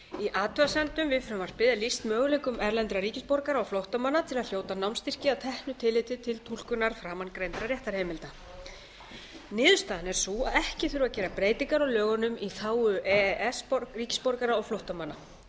athugasemdum við frumvarpið er lýst möguleikum erlendra ríkisborgara og flóttamanna til að hljóta námsstyrki að teknu tilliti til túlkunar framangreindra réttarheimilda niðurstaðan er sú að ekki þurfi að gera breytingar á lögunum í þágu e e s ríkisborgara og flóttamanna